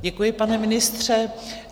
Děkuji, pane ministře.